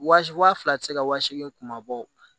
Wa wa fila ti se ka wa seegin kuma bɔ